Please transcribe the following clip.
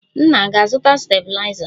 Nna a ga-azụta stabiliza?